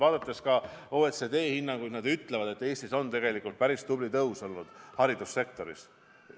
Kui vaadata OECD hinnanguid, siis nad ütlevad, et Eestis on tegelikult päris tubli palgatõus olnud haridussektoris.